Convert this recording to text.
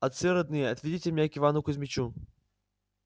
отцы родные отведите меня к ивану кузмичу